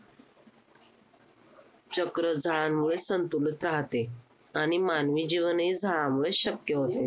चक्र झाडांमुळेच संतुलित राहाते आणि मानवी जीवनही झाडांमुळेच शक्य होते.